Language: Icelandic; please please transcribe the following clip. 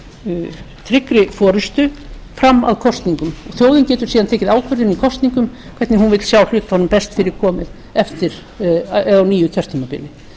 undir tryggri forustu fram að kosningum þjóðin getur síðan tekið ákvörðun í kosningum hvernig hún vill sjá hlutunum best fyrir komið á nýju kjörtímabili